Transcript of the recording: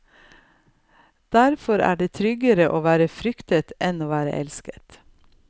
Derfor er det tryggere å være fryktet enn å være elsket.